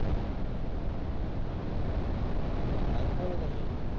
કામ બોલો તમે